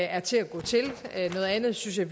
er til at gå til noget andet synes jeg